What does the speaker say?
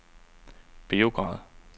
Beograd